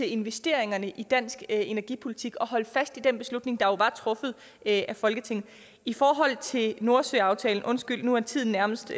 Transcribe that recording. investeringerne i dansk energipolitik at holde fast i den beslutning der jo var truffet af folketinget i forhold til nordsøaftalen undskyld nu er tiden nærmest